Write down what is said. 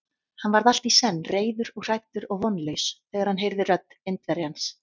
Hann varð allt í senn reiður og hræddur og vonlaus, þegar hann heyrði rödd Indverjans.